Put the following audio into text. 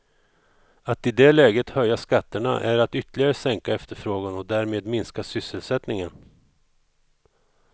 Att i det läget höja skatterna är att ytterligare sänka efterfrågan och därmed minska sysselsättningen.